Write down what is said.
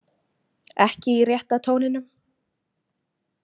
Ekki í rétta tóninum.